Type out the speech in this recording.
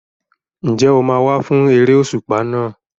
Ǹjẹ́ o máa wá fún eré òṣùpá náà?